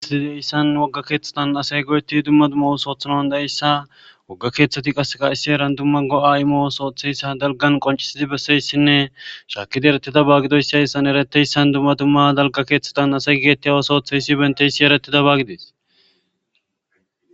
aidayssan wogga keeththatan asay goyetti dumma dumma soothanan dayeyssa wogga keeththati qaseka issi eran dumma go7a imoosooththeyssa dalgan qoncisizi besseyssinne shaakidi erettida baagidoyssaeyssan ereteyssan dumma dumma dalga keeththatan asay geetti a osootheyssi benteyssi eretida baagidees